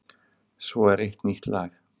Svo er eitt nýtt lag.